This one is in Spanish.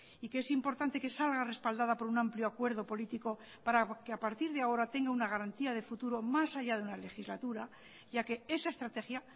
y que es importante que salga respaldada por un amplio acuerdo político para que a partir de ahora tenga una garantía de futuro más allá de una legislatura ya que esa estrategia